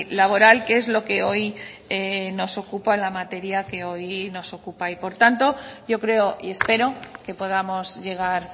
laboral que es lo que hoy nos ocupa la materia que hoy nos ocupa y por tanto yo creo y espero que podamos llegar